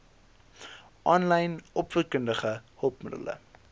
aanlyn opvoedkundige hulpmiddele